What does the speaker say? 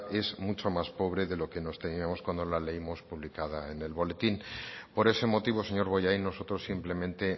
es mucho más pobre de la que nos temíamos cuando la leímos publicada en el boletín por ese motivo señor bollain nosotros simplemente